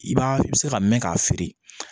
I b'a i bɛ se ka mɛn k'a feere